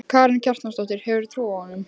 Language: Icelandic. Karen Kjartansdóttir: Hefurðu trú á honum?